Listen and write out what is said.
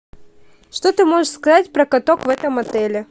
что ты можешь сказать про каток в этом отеле